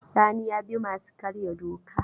Sani ya bi masu karya doka.